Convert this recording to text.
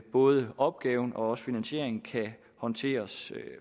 både opgaven og finansieringen kan håndteres